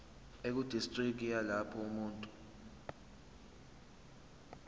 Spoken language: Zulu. ekudistriki yalapho umuntu